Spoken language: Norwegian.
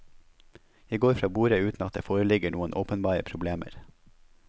Jeg går fra borde uten at det foreligger noen åpenbare problemer.